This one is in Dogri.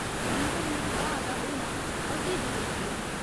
जीवन लेई ब्हाऽ दा होना अति जरूरी ऐ।